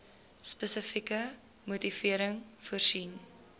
spesifieke motivering voorsien